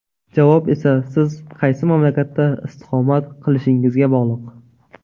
Javob esa siz qaysi mamlakatda istiqomat qilishingizga bog‘liq.